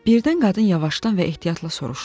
Birdən qadın yavaşdan və ehtiyatla soruşdu.